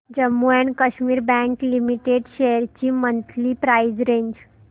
Jammu and Kashmir bank limited shares ची monthly price range